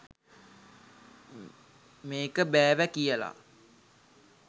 මේක බෑවැ කියලා.